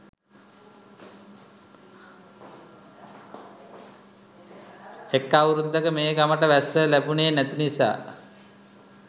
එක් අවුරැද්දක මේ ගමට වැස්ස ලැබුනෙ නැති නිසා